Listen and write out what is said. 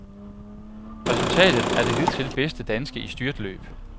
Resultatet er det hidtil bedste danske i styrtløb.